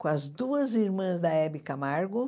Com as duas irmãs da Hebe Camargo.